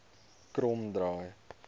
kromdraai